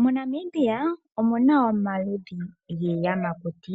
MoNamibia omu na omaludhi giiyamakuti,